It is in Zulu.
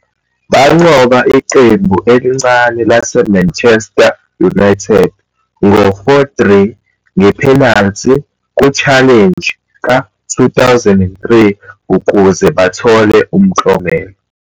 Banqoba iqembu elincane laseManchester United ngo-4-3 nge-penalty ku-Challenge ka-2006 ukuze bathole umklomelo.